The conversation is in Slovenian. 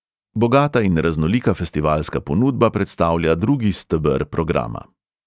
Bogata in raznolika festivalska ponudba predstavlja drugi steber programa.